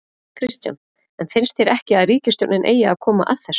Kristján: En finnst þér ekki að ríkisstjórnin eigi að koma að þessu?